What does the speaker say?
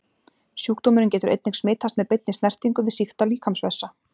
Sjúkdómurinn getur einnig smitast með beinni snertingu við sýkta líkamsvessa.